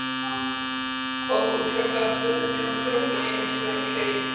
Fór úr hjá Gasstöðinni og hljóp í einum spreng heim.